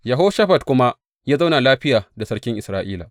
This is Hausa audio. Yehoshafat kuma ya zauna lafiya da sarkin Isra’ila.